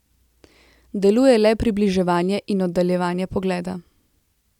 Deluje le približevanje in oddaljevanje pogleda.